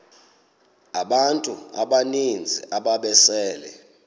abantu abaninzi ababesele